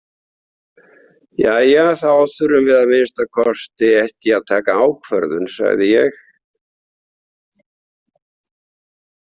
Jæja, þá þurfum við að minnsta kosti ekki að taka ákvörðum, sagði ég.